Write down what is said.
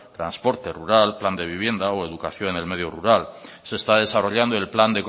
transporte rural plan de vivienda o educación en el medio rural se está desarrollando el plan